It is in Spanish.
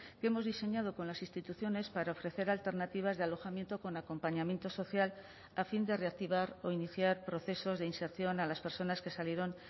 que hemos diseñado con las instituciones para ofrecer alternativas de alojamiento con acompañamiento social a fin de reactivar o iniciar procesos de inserción a las personas que salieron